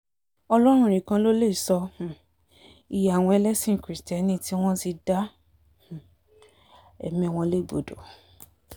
ọlọ́run nìkan ló lè sọ um iye àwọn ẹlẹ́sìn kirisítérì tí wọ́n ti dá um ẹ̀mí wọn légbodò